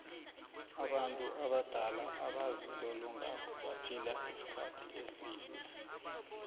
abantu abadala abazilolongako baphila isikhathi eside